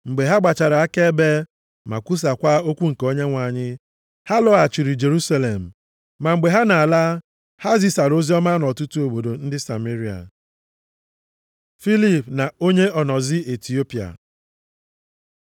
Mgbe ha gbachara akaebe, ma kwusaakwa okwu nke Onyenwe anyị, ha lọghachiri Jerusalem. Ma mgbe ha na-ala ha zisara oziọma nʼọtụtụ obodo ndị Sameria. Filip na onye onozi Itiopia